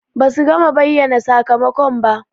Ba su gama bayyana sakamakon ba.